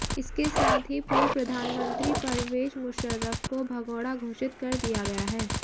इसके साथ ही पूर्व प्रधानमंत्री परवेज मुशर्रफ को भगोड़ा घोषित कर दिया गया है